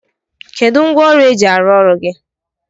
Kedụ ngwaọrụ e ji arụ ọrụ gị?